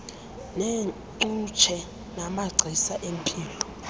neengcutshe namagcisa empilo